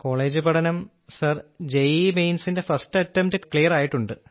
college പഠനം sir JEE മെയിൻസിന്റെ first attempt clear ആയിട്ടുണ്ട്